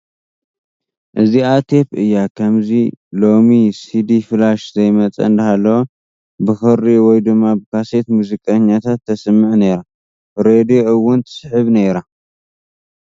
እዚኣ ቴፕ እያ ከምዚ ሎሚ ሲዲ ፍላሽ ዘይመፀ እንዳሃለወ ብኽሪ ወይ ድማ ብካሴት ሙዚቓታት ተስምዕ ነይራ ፡ ሬድዮ እውን ትስሕብ ነይራ ።